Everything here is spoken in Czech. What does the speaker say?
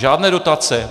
Žádné dotace!